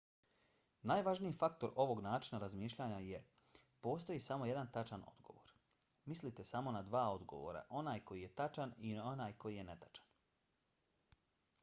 najvažniji faktor ovog načina razmišljanja je: postoji samo jedan tačan odgovor. mislite samo na dva odgovora – onaj koji je tačan i onaj koji je netačan